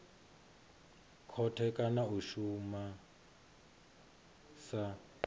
khothe kana a shuma sa